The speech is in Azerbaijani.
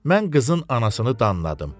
Mən qızın anasını danladım.